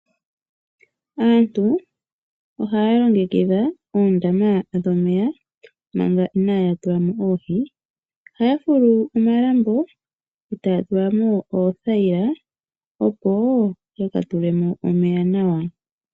Aantu ohaya longekidha oondama dhomeya manga inaya tulamo oohi ohaya fulu omalambo etaya tula mo oothayila, opo ya tulemo omeya nawa.